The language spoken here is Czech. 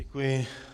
Děkuji.